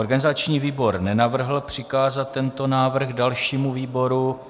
Organizační výbor nenavrhl přikázat tento návrh dalšímu výboru.